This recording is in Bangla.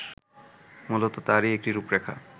মূলত তারই একটি রূপরেখা